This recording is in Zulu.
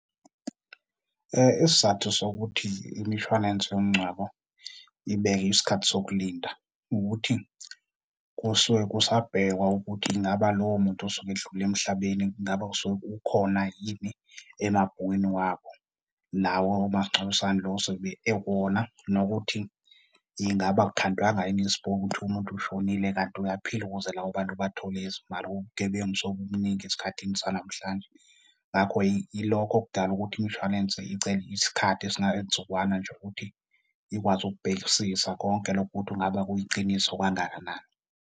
Isizathu sokuthi imishwalense yomngcwabo ibeke isikhathi sokulinda ukuthi kusuke kusabhekwa ukuthi ingabe lowo muntu osuke edlule emhlabeni ingabe ukhona yini emabhukwini wabo, lawo omasingcwabisane lo ozobe ekuwona. Nokuthi ingabe akukhandwanga yini isipoki kuthiwe umuntu ushonile, kanti uyaphila ukuze labo bantu bathole izimali. Ubugebengu sebubuningi esikhathini sanamhlanje, ngakho yilokho okudala ukuthi imshwalense icele isikhathi esingayintsukwana nje ukuthi ikwazi ukubhekisisa konke lokho ukuthi ngabe kuyiqiniso kangakanani.